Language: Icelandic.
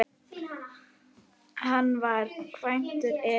Hann var kvæntur Elínu